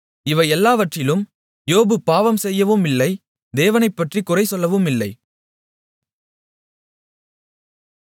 இவையெல்லாவற்றிலும் யோபு பாவம்செய்யவுமில்லை தேவனைப்பற்றிக் குறைசொல்லவுமில்லை